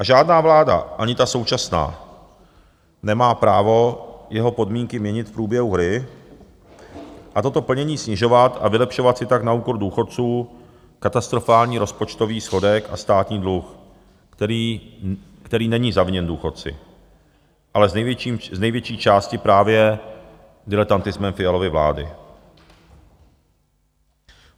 A žádná vláda, ani ta současná, nemá právo jeho podmínky měnit v průběhu hry a toto plnění snižovat a vylepšovat si tak na úkor důchodců katastrofální rozpočtový schodek a státní dluh, který není zaviněn důchodci, ale z největší části právě diletantismem Fialovy vlády.